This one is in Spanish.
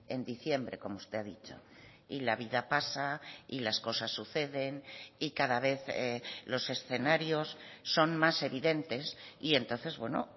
en diciembre como usted ha dicho y la vida pasa y las cosas suceden y cada vez los escenarios son más evidentes y entonces bueno